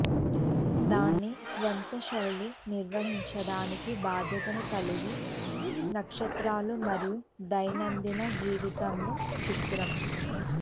దాని స్వంత శైలి నిర్వహించడానికి బాధ్యతను కలిగి నక్షత్రాలు మరియు దైనందిన జీవితంలో చిత్రం